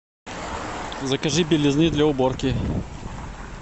закажи белизны для уборки